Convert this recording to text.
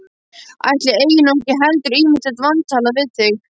Ætli ég eigi nú ekki heldur ýmislegt vantalað við þig.